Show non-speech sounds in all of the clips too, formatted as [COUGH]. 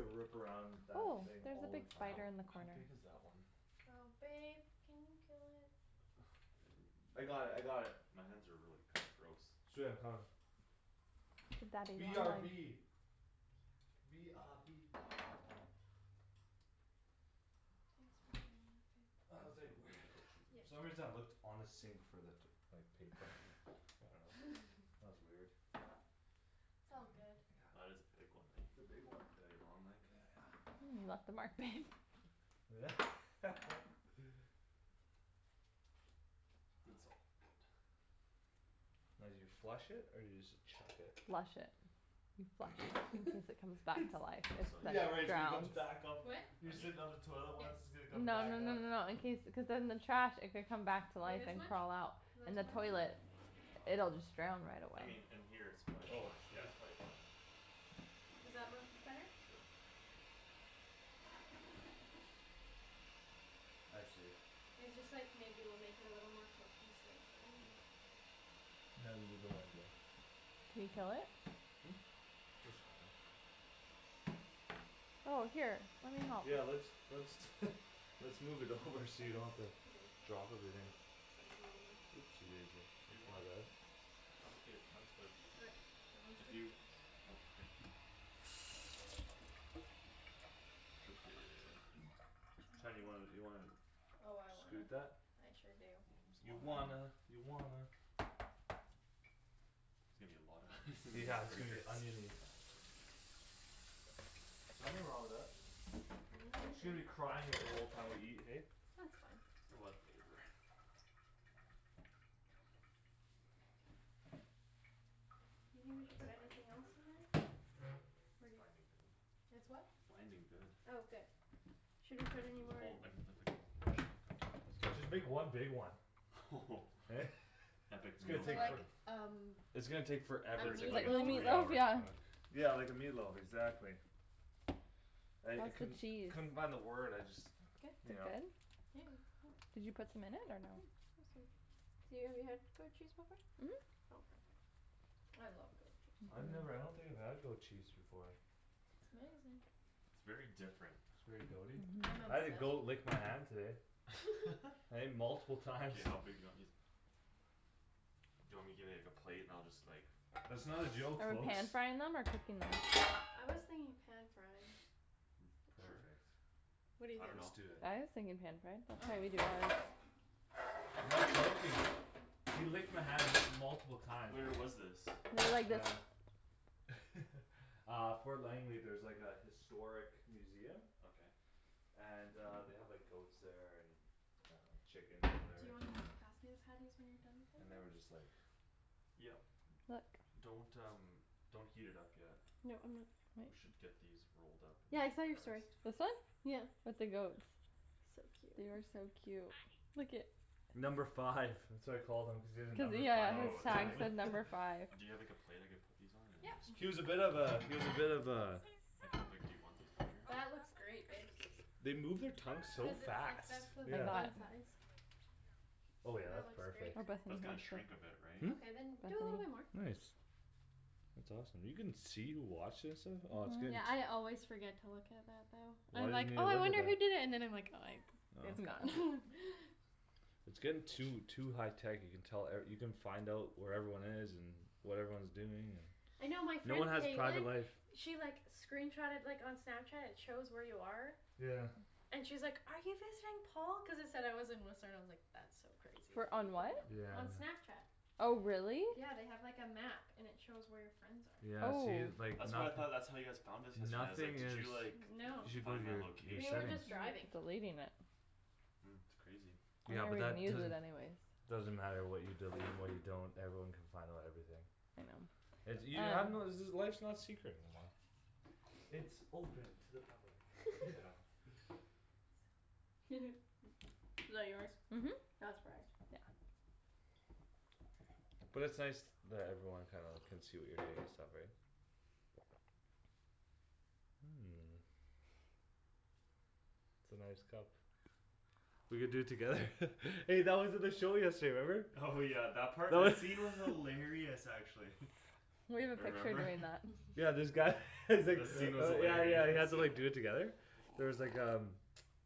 rip around that Oh, thing there's a all big the How, time. spider in the how corner. big is that one? Oh babe, can you kill it? I got it. I got it. [NOISE] My hands are really kinda gross. Sweet, I'm coming. The daddy B R long B. legs. B R B. Thanks for doing that, babe. I I, was like, I "Where" need the goat cheese in [LAUGHS] there Yep. For some soon. reason I looked on the sink for that, like, paper. I dunno. [LAUGHS] [LAUGHS] That was weird. - t's [NOISE] I all good. That got. is a big one, It's eh? a big one. Daddy long leg. Yeah, yeah. You left a mark, babe. [LAUGHS] It's all good. Now do you flush it or do you just chuck it? Flush it. You flush. [LAUGHS] Cuz it comes back It's, to life if So like onion in left yeah, like it's gonna there, come drowned. too? back up. What? You're Onion? sitting on the toilet Yes. what's, it's gonna come No no back no up. no no, in case, cuz then the trash, it could come back to Like life this and much? crawl out. Is In that the too much? toilet Oh, that's a lot. it'll just drown right I away. mean in here it's probably Oh fi- yeah, shoot. it's probably fine. Is that much better? Sure. I see. It's just, like, maybe we'll make it a little more cohesive, right? Yep. [INAUDIBLE] Can we kill it? Hmm? It's fine. Oh, here, let me help. Yeah, let's, let's [LAUGHS] Let's move it Should over these, so are you don't these have to too big? drop Should everything. I slice 'em a little more? Oopsie daisy. If you That's my want. bad. I'm okay with chunks but Okay, then let's If do you, chunks. oh, k. Chunky. Shan, you wanna, you wanna Oh, I scoot wanna. that? I sure do. That's a You lotta onion. wanna, you wanna There's gonna be a lotta onion in these Yeah, it's gonna be burgers. [LAUGHS] onion-y. Nothing wrong with that. She's Hands are gonna be good. crying at the whole time we eat, hey? That's fine. A lotta flavor. Do you Oh, think we should that's put binding anything else in there? good. It's Pretty. binding good. It's what? Binding good. Oh, good. Should I put Like, any the more whole, I can put, like, the whole chunk of tomatoes. Just make one big one. [LAUGHS] [LAUGHS] Epic It's gonna Meal So take for- Time. like um It's gonna take A forever It's to like, like Like the a meatloaf? meat three loaf, hour yeah. cook. Yeah, like a meatloaf, exactly. I, I How's the couldn't, cheese? couldn't find the word. I just Good. Is You it know. good? Yeah. Did you put some in it Yeah, or no? awesome. So you have, you had goat cheese before? Mhm. Okay. I love goat cheese. I've never, I don't think I've had goat cheese before. It's amazing. It's very different. It's very goat- y? I'm I had a goat obsessed. lick my hand today. [LAUGHS] [LAUGHS] Hey? Multiple times. K, how big do you want these? Do you want me to give you, like, a plate and I'll just like That's not a joke, Are we pan folks. frying them or cooking them? I was thinking pan frying. [NOISE] Sure. Perfect. What do you I Let's dunno. think? do it. I was thinking pan fry. That's how we Okay. do ours. Not joking. He licked my hand m- multiple times. Where was this? I really like this. Uh [LAUGHS] Uh Fort Langley, there's, like, a historic museum Okay. And uh they have, like, goats there and And uh chickens, Do whatever. you wanna just pass me the patties when you're done with And the they were just, rest? like Yep. Look. Don't, um, don't heat it up yet. No, I'm not. [NOISE] We should get these rolled up in Yeah, there I saw your story. first. This one? Yeah. With the goats. So They cute. are so cute. Look at Number five. That's what I call them. Cuz he has a Cuz, yeah, number five yeah, on his Oh, his tag tag? tablet. said [LAUGHS] number five. Do you have, like, a plate I could put these on and then Yep. this He was a bit of goes a, he was a bit of a Like how big do you want these, bigger? That looks great, babe. They move their tongue so Cuz it's, like, fast, that's the I'm yeah. not bun size. Oh yeah, That that's looks great. perfect. Oh, Bethany That's gonna watched it. shrink a bit, right? Hmm? Okay, then do a little bit more. Bethany. Nice. That's awesome. You can see, wash and stuff? Oh it's gonna Yeah, I always forget to look at that though. Why I'm like, didn't you "Oh I look at wonder who that? did it." And then I like "Oh I- it's Oh gone." [LAUGHS] It's getting too, too high tech you can tell, er, you can find out where everyone is and What everyone's doing I and know my no one friend has private Caitlin life. She, like, screenshotted like on Snapchat; it shows where you are Yeah. And she's like, "Are you visiting Paul?" cuz it said I was in Whistler, I was like "That's so crazy that Wher- you can on what? Yeah, know" I on know. Snapchat. Oh, really? Yeah, they have, like, a map and it shows where your friends Yeah, are. see, Oh. like That's what I nothi- thought, that's how you guys found us yesterday. I was like, Nothing "Did is you like No, Find my we were location?" just driving. Deleting it. Mm. It's crazy. You Yeah, don't but that even use it doesn't anyways. Doesn't matter what you delete and what you don't. Everyone can find out everything. I know. [NOISE] You have to Um know [NOISE] life's not secret anymore. It's open to the public. [LAUGHS] Yeah. [LAUGHS] [LAUGHS] Is that yours? Mhm. Yeah. Not surprised. But it's nice that everyone kinda can see what you're doing and stuff, right? [NOISE] It's a nice cup. We could do it together. [LAUGHS] Hey, that was at the show yesterday, remember? Oh, yeah, that part? That scene was [LAUGHS] hilarious, actually. We have a picture Remember? [LAUGHS] doing that. [LAUGHS] Yeah, this guy [LAUGHS] he's like, The scene was uh yeah, yeah, he has hilarious. to, like, do it [LAUGHS] together. There was like um,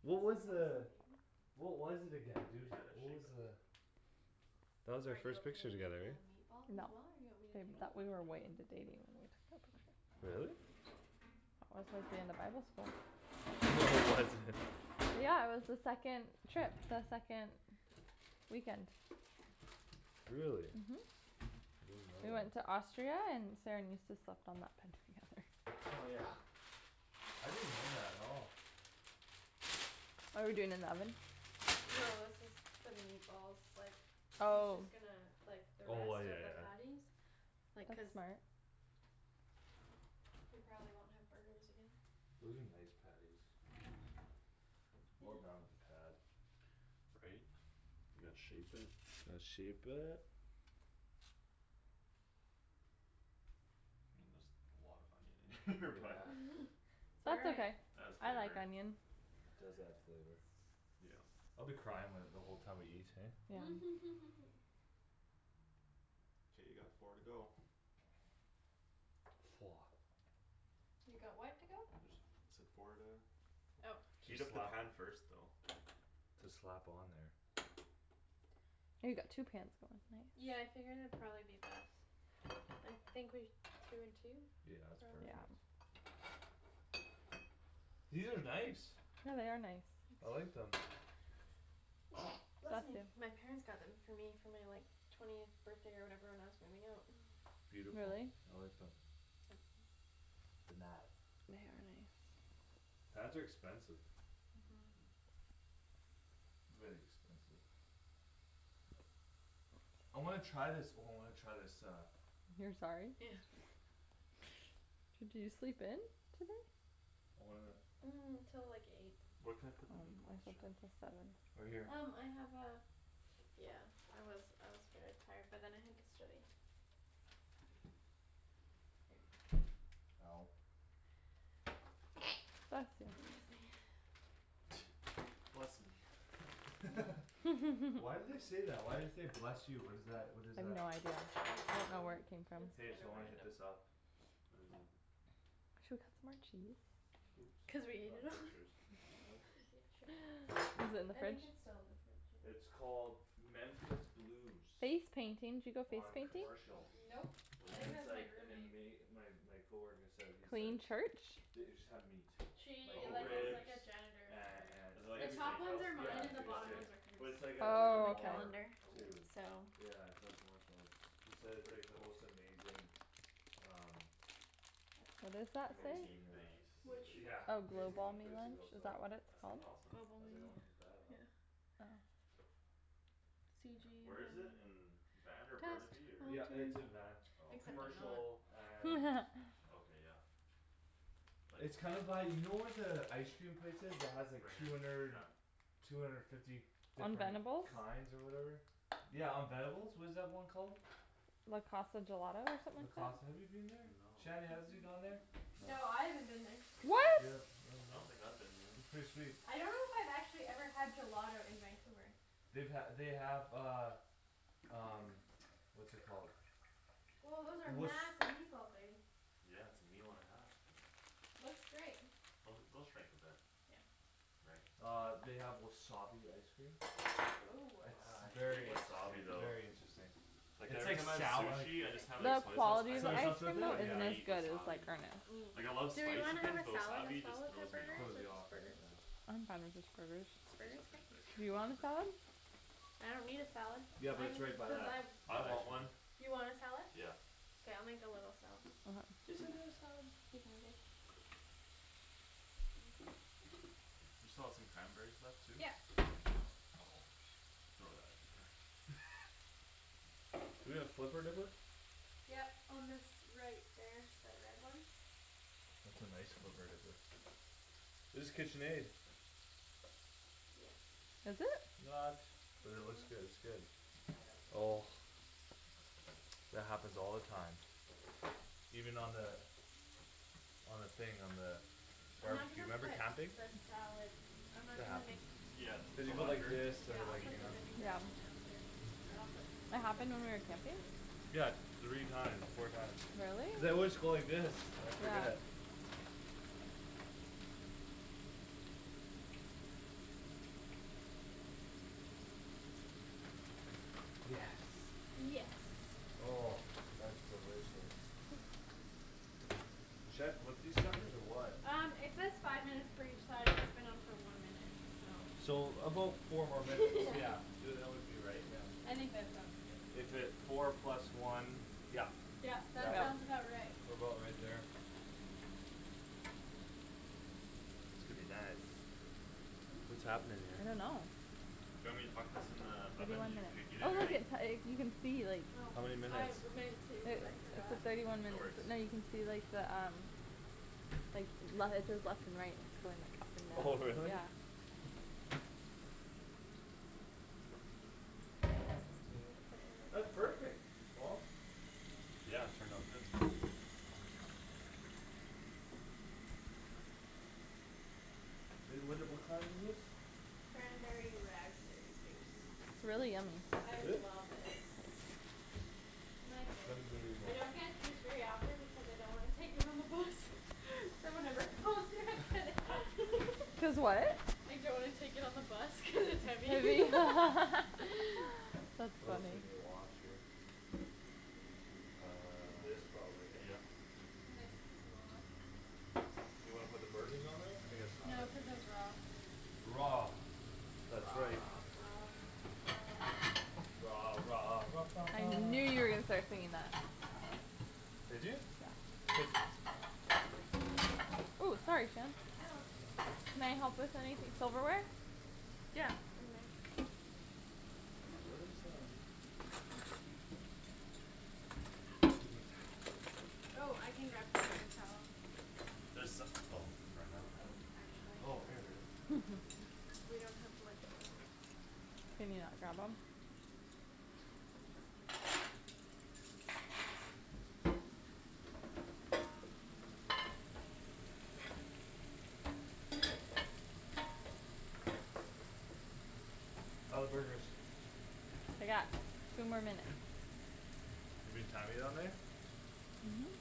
what was Who's the that [INAUDIBLE] baby? What was it again, Dude, dude, you gotta what was shape it. the That was our Are you first okay picture to make together, that right? meatball as No. well? Or do you want me to Baby, No, take tha- I over we can were for do way that. you? into dating when we took it. Really? That was like the end of bible school. [LAUGHS] Yeah, that's in there Yeah, it was the second Trip, the second weekend. Really? Mhm. I didn't know We that. went to Austria and Saran used to slept on that bed together. Oh, yeah? I didn't know that at all. Are we doing in the oven? No, that's just for the meatballs, like He's Oh. just gonna, like, the Oh I, rest yeah, of the yeah. patties. Like, That's cuz smart. We probably won't have burgers again. Those are nice patties. Well Yeah. done with the pad. Right? You gotta shape it. Let's shape it. I mean there's a lot of onion in here [LAUGHS] but [LAUGHS] Yeah. It's all That's right. okay, Adds I like flavor. onion. It does add flavor. Yeah. I'll be crying when, the whole time we eat, hey? Yeah. [LAUGHS] K, you got four to go. Woah. You got what to go? Just said four to Oh. Heat Just up the slap pan first though. Just slap on there. Oh, you got two pans going, nice. Yeah, I figured it'd probably be best. I think we, two and two? Yeah, it's Yeah. Probably. perfect. These are nice. Yeah, they are nice. I like [NOISE] them. [NOISE] Bless Bless me! you. My parents got them for me for my, like Twentieth birthday or whatever when I was moving out. [NOISE] Beautiful, Really? I like them. [NOISE] They nice. They are nice. Pans are expensive. Mhm Very expensive. I wanna try this, oh, I wanna try this uh You're sorry? Yeah. Did you sleep in? Today? I wanna [NOISE] Till like eight. Where can I Oh, put the I meatballs, slept Shan? in till seven. Right here Um I have a Yeah, I was, I was very tired but then I had to study. Ow [NOISE] Bless Bless you. me, yeah. [NOISE] Bless me. [LAUGHS] [LAUGHS] [LAUGHS] Why do [LAUGHS] they say that? Why do you say "Bless you"? What is that? What is I have that? no [NOISE] idea. I don't really I don't know where know. it came from. It's Hey, kinda so wanna hit random. this up. What is it? Should we cut some more cheese? Oops, Cuz we ate it not all butchers. Nope. [LAUGHS] [NOISE] Is it in the I think fridge? it's still in the fridge, yeah. It's called Memphis Blues. Face painting. Did you go face On painting? Memphis Blues. Commercial. Nope, What I is And think that it's it? was my like an roommate. ama- my. my coworker said. he said Plain church? The- it just have meat. Like She, Oh, like, is really? like ribs a janitor and, for Is it and like The a everything. top ones steakhouse are kinda Yeah, mine and it's thing? the like a bottom Okay. steakh- ones are hers. But it's like a, like a And Oh, the okay. bar calendar too Oh. so Yeah, it's on Commercial. It's, he That said sounds it's pretty like the cool. most amazing Um That's What does mine. that say? Amazing Protein uh base. Which? yeah, Oh, amazing [LAUGHS] Globalme place to lunch? go, Is so. that what it's That sounds called? awesome. I was like, "I Globalme, wanna hit that up." yeah C Where is G it? In um Van or Test. Burnaby or Wrong Yeah, turn. it's in Van. Oh, okay Except I'm not. Commercial and Okay, yeah. Like It's kinda by, you know where the ice cream place is that has like Rain two or hundred Shi- Two hundred fifty On different Venebles? kinds or whatever? Yeah, on [NOISE] Venebles? What is that one called? Le Casa Gelato or Le something like that? Casa, have you been there? No. Shanny, has you [NOISE] gone there? No. No, I haven't been there. I don't think What? so. Yep, oh, I no? don't think I've been It's there. pretty sweet. I don't know if I've actually had gelato in Vancouver. They've ha- they have uh Um what's it called Woah, those are [NOISE] massive meatballs, baby. Yeah, it's a meal and a half. Looks great. Those, they'll shrink a bit. Yeah Right. Uh they have wasabi ice cream. Woah. [NOISE] It's Ah, I hate very wasabi interesting, though. very interesting. Like It's every like time I have sou- like sushi I just Okay. have, like, The soy sauce. I quality of Soy hate, ice sauce with cream though I it? Yeah. isn't as hate good as, wasabi, like, man. Earnest. Mm. Like, I love Do we spicy wanna have things a but salad as wasabi well just with our throws me burgers? off. Throws Or you off, just right? burgers? Yeah. I'm fine with just burgers. Just These are burgers? K. pretty big. Do you want a Whatever. salad? I don't need a salad, Yeah, but I it's mean right by cuz that I ice I want cream place. one. You want a salad? Yeah. K, I'll make a little salad. Okay. Listen to the salad. Excuse me, babe. You still have some cranberries left too? Yep Throw that in there. [LAUGHS] We gonna flipper dipper? Yep, on this, right there, that red one. That's a nice flipper dipper. It's Kitchenaid. Yes. Is it? Not, but it No, looks good, it's good. I don't Oh know. That happens all the time. Even on the On the thing, on the I'm not Barbecue, gonna remember put camping? the salad I'm not It gonna make happens. Yeah, You with Cuz the you put go like lacquer? this, this yeah, to, I'll I mean. like, put you the know Yeah. vinaigrette in after. K. And I'll put some It of the happened when we were cranberries camping? in. Yeah, three times, four times. Really? Cuz I always go like this, I Yeah. forget. Yes. Yes. Oh, that's delicious. [LAUGHS] Should I flip these suckers or what? Um it says five minutes for each side and it's been on for one minute, so. So about four more minutes, [LAUGHS] Yeah yeah. Y- uh that would be right, yeah. I think that sounds good. If it, four plus one, yeah. Yep, Yeah, that well, sounds Yep. about right. what about right there? Could be nice. Hmm? What's happening I don't there? know. Do you want me to huck this in the Maybe oven? one Did you minute. preheat Oh it look already? it uh you can see like Oh. How many I minutes? w- meant to but It, I it's forgot. at thirty one No minutes. worries. No, you can see the um Like le- it says left and right; it's going up Oh and down, really? yeah. I'ma pass this to you to put in That's the perfect, Paul. Yeah, it turned out good. I- Would it, what kind is this? Cranberry raspberry juice. It's really yummy. I Is it? love it. My go to. Cranberry I don't get [NOISE] juice very often because I don't wanna take it on the bus So whenever Paul's here I get [LAUGHS] it. [LAUGHS] Cuz what? I don't wanna take it on the bus cuz it's heavy [LAUGHS] Heavy. [LAUGHS] That's We also funny. need a wash here. [NOISE] This probably, Uh hey? yep. This could be washed. You wanna put the burgers on there? I guess not, No, eh? cuz it's raw. Raw, that's right. Raw Raw I knew you were gonna start [NOISE] singing [LAUGHS] that. Did you? Cuz Ooh, sorry, Shan. No, that's okay. Can I help with anythi- silverware? Yeah, in men. Where's um [NOISE] Paper towel? Oh, I can grab some paper towel. There so- oh, ran out? Oh, actually. Oh, here we are. [LAUGHS] We don't have much. I'll grab you Can you not grab 'em? How're the burgers? They got two more minutes. We've been timing on there? Mhm.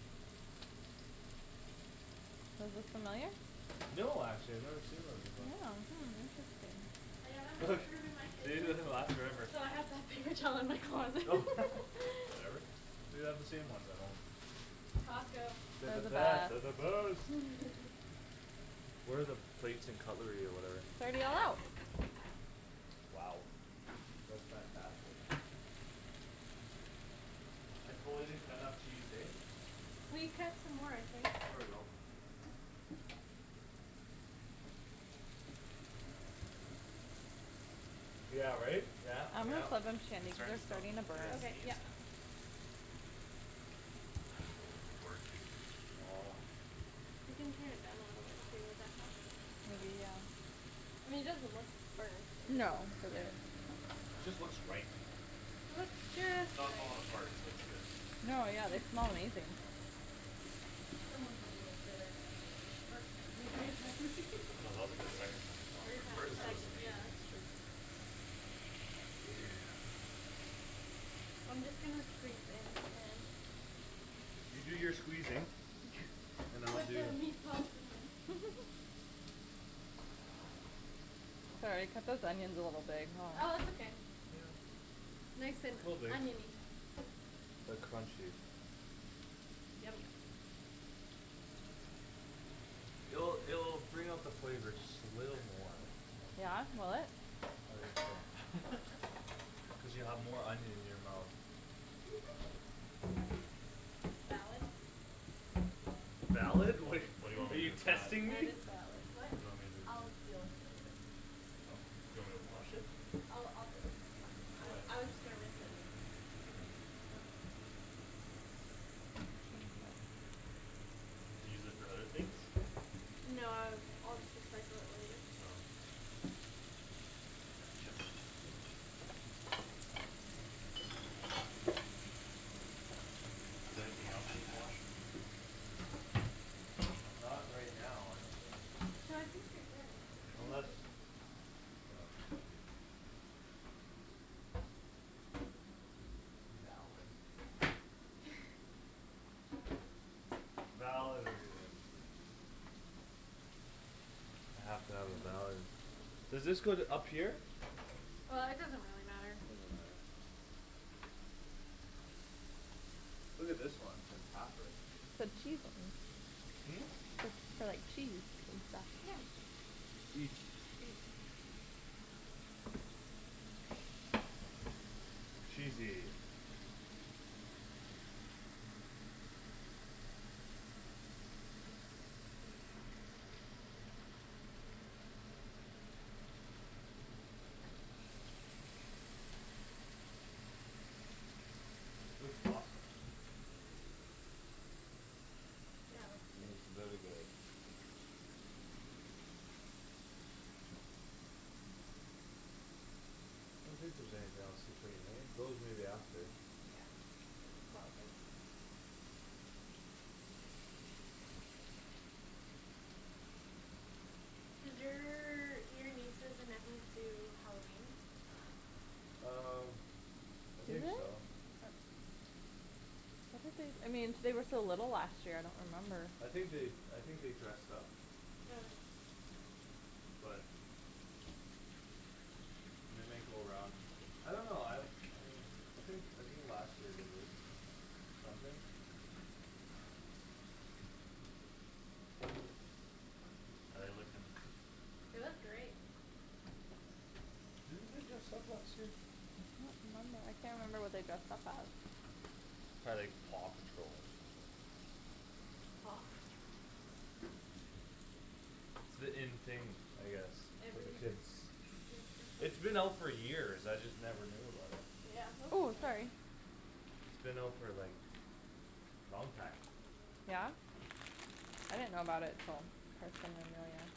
Those look familiar? No, actually I've never seen those before. Yeah, hmm, interesting. I don't have enough room in my [LAUGHS] They kitchen usually last forever. So I have to have paper towel in my closet. [LAUGHS] Whatever. [LAUGHS] We have the same ones at home. Costco. They're the They're the best, they're best. the best. [LAUGHS] Where are the plates and cutlery or whatever? It's already all out. Wow. That's fantastic. I totally didn't cut enough cheese, hey? We cut some more, I think. There we go. Yeah, right? Yeah, I'm gonna yeah. flip 'em, Shandy, It's cuz starting they're to smell starting to [NOISE] burn. I gotta Okay, yep. sneeze. Oh, they're gorgey. [NOISE] You can turn it down a little bit too, would that help? Maybe, yeah. I mean it doesn't look burnt. No, but they're Yeah Just looks right. It looks It's just not right. falling apart, so it's good. No, yeah, they smell [LAUGHS] amazing. Someone's a little bitter still about the first time we made them. No, that was, like, [LAUGHS] the second time it fell apart. First time it First was time Everytime was amazing. [INAUDIBLE] Yeah amazing. that's true. Yeah. I'm just gonna squeeze in and You do your squeezing and [LAUGHS] I'll Put do the meatballs in the Sorry, I cut those onions a little big, huh. Oh it's okay. Yeah. Nice and Little big. onion-y Like crunchy. Yum, yum. It'll, it'll bring out the flavor just a little more. Yeah? Will it? I think it's full. Cuz you [LAUGHS] have more onion in your mouth. [LAUGHS] Valid. Valid? Wait, Like, [LAUGHS] what do you want are me to do you with that? testing That me? is valid. What? What do you want me to do with I'll that? deal with it later. Oh, do you want me to wash it? I'll, I'll deal with it. That's fine. Why? I, I was just gonna rinse it and then I can rinse it. Okay Do you use it for other things? No, uh I'll just recycle it later. Oh. I gotcha. Is there anything else needs washing? Not right now, I don't think. No, I think you're good. K. Thank Unless you. Yeah. Valid. [LAUGHS] Valid reason. I have to have a [NOISE] valid Does this go th- up here? Uh it doesn't really matter. Look at this one, it's like halfer Put cheese on. Hmm? It's for, like, cheese and stuff. Yeah. Eat. Eat Cheesy. Looks awesome. Yeah, it looks good. Looks very good. I don't think there's anything else to clean, eh? Those maybe after Yeah, it's all good. Does your, do your nieces and nephews do Halloween? Um I Do they? think so. I thought they, I mean, they were so little last year; I don't remember. I think they, I think they dressed up. [NOISE] But And they might go around. I don't know, I Uh I think, I think last year they did it. Something How're they looking? It was great. Didn't they dress up last year? I don't remember. I can't remember what they dressed up as. Probably like Paw Patrol or something. [NOISE] It's the in thing, I guess, with the Every kids. It was just It's like been out for years; I just never knew about it. Yeah Ooh, sorry. [INAUDIBLE] It's been out for, like, long time. Yeah? I didn't know about it till Kristen and Marianne.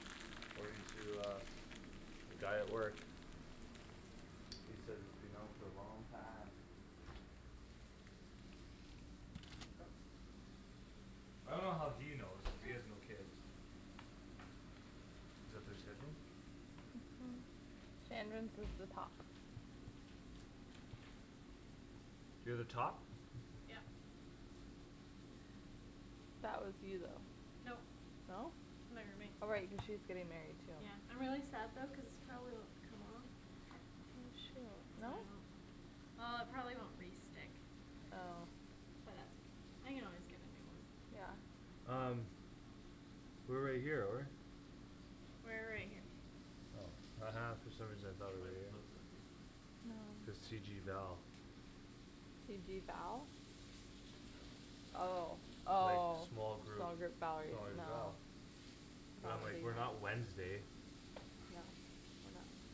According to, uh, the guy at work. He says it's been out for a long time. [INAUDIBLE] I dunno how he knows, cuz Sure. he has no kids. Is that their schedule? Mhm. Shandryn's is the top. You're the top? Yep. That was you though. Nope, No? my roommate. Oh, right, cuz she's getting married too. Yeah, I'm really sad though cuz this probably won't come off. She'll No? [INAUDIBLE] well. It probably won't re-stick. Oh. But that's okay. I can always get a new one. Yeah. Um we're right here though, right? We're right here. Oh ha ha, for some reason I thought we Should I were here. flip them in? This K. C G Val. C G Val? Oh, Like oh, small small group, group Valerie, small group Val. no. But I'm like, Might "We're be. not Wednesday." [INAUDIBLE]